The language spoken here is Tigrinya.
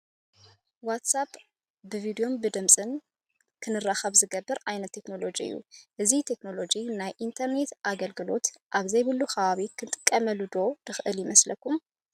ዋትስ ኣፕ ብቪድዮን ድምፅን ክንራኸብ ዝገብር ዓይነት ቴክኖሎጂ እዩ፡፡ እዚ ቴክኖሎጂ ናይ ኢንተርኔት ኣገልግሎት ኣብዘይብሉ ከባቢ ክንጥቀመሉ ዶ ንኽእል ይመስለኩም?